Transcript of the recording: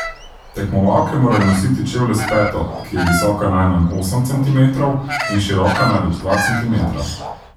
Tekmovalke morajo nositi čevlje s peto, ki je visoka najmanj osem centimetrov in široka največ dva centimetra.